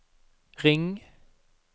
ring